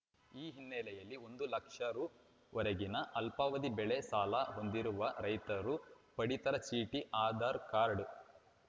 ಈ ಹಿನ್ನೆಲೆಯಲ್ಲಿ ಒಂದು ಲಕ್ಷ ರುವರೆಗಿನ ಅಲ್ಪಾವದಿ ಬೆಳೆ ಸಾಲ ಹೊಂದಿರುವ ರೈತರು ಪಡಿತರ ಚೀಟಿ ಆದಾರ್‌ ಕಾರ್ಡ್